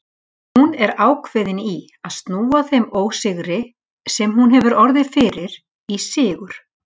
Hún er ákveðin í að snúa þeim ósigri, sem hún hefur orðið fyrir, í sigur.